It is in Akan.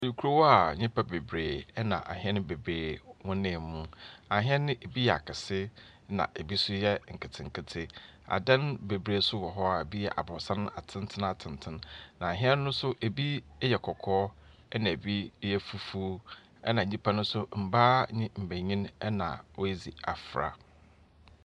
Ekurow a nnipa bebree ɛna ahene bebree wɔnam mu. Ahen no bi yɛ akɛse na ebi nso yɛ nketenkete. Adan bebree nso wɔ hɔ a ebi yɛ abrosan atentenatenten. Na ahen no nso bi yɛ kɔkɔɔ na ebi ɛyɛ fufuo. ɛna nnipa nso mbaa ne mbɛnyin ɛna wɔadzi afra.